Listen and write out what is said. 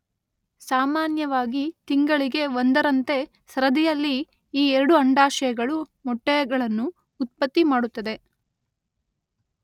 ಸಾಮಾನ್ಯವಾಗಿ ತಿಂಗಳಿಗೆ ಒಂದರಂತೆ ಸರದಿಯಲ್ಲಿ ಈ ಎರಡು ಅಂಡಾಶಯಗಳು ಮೊಟ್ಟೆಗಳನ್ನು ಉತ್ಪತ್ತಿ ಮಾಡುತ್ತದೆ.